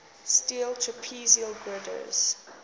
steel trapezoidal girders